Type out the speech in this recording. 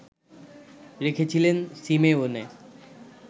রেখেছিলেন সিমেওনে